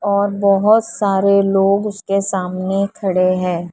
और बहोत सारे लोग उसके सामने खड़े हैं।